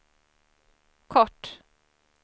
kort